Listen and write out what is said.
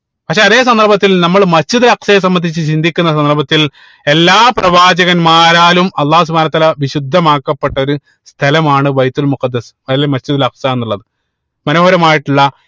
പക്ഷെ അതെ സന്ദർഭത്തിൽ നമ്മൾ Masjid ഉൽ അക്സയെ സംബന്ധിച്ച് ചിന്തിക്കുന്ന സന്ദർഭത്തിൽ എല്ലാ പ്രവാചകന്മാരാലും അള്ളാഹു സുബ്‌ഹാനഉ വതാല വിശുദ്ധമാക്കപ്പെട്ട ഒരു സ്ഥലമാണ് ബൈത്തുൽ മുഖദ്ദിസ് അതായത് Masjid ഉൽ അക്സ എന്നുള്ളത് മനോഹരമായിട്ടുള്ള